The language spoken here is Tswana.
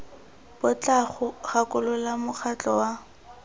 bo tla gakolola mokgatlho wa